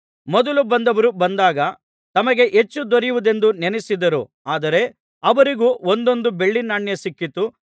ಮೊದಲು ಬಂದವರು ಬಂದಾಗ ತಮಗೆ ಹೆಚ್ಚು ದೊರೆಯುವುದೆಂದು ನೆನಸಿದರು ಆದರೆ ಅವರಿಗೂ ಒಂದೊಂದು ಬೆಳ್ಳಿ ನಾಣ್ಯ ಸಿಕ್ಕಿತು